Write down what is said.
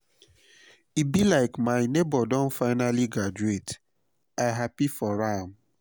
e be like my nebor don finally graduate i happy for am o